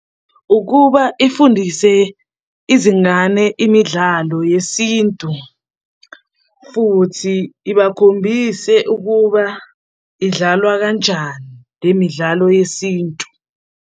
Ukuba ifundise izingane imidlalo yesintu futhi ibakhombise ukuba idlalwa kanjani le midlalo yesintu.